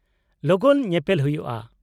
-ᱞᱚᱜᱚᱱ ᱧᱮᱯᱮᱞ ᱦᱩᱭᱩᱜᱼᱟ ᱾